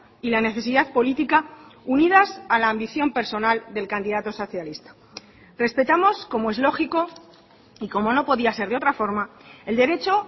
y la necesidad política unidas a la ambición personal del candidato socialista respetamos como es lógico y como no podía ser de otra forma el derecho